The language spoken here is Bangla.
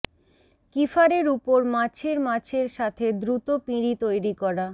কিফারের উপর মাছের মাছের সাথে দ্রুত পিঁড়ী তৈরি করা